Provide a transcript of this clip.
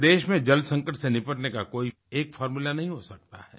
पूरे देश में जल संकट से निपटने का कोई एक फ़ॉर्मूला नहीं हो सकता है